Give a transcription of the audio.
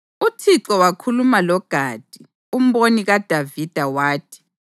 UThixo wakhuluma loGadi, umboni kaDavida, wathi: